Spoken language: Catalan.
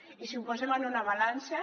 i si ho posem en una balança